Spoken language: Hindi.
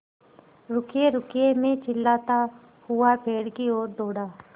रुकिएरुकिए मैं चिल्लाता हुआ पेड़ की ओर दौड़ा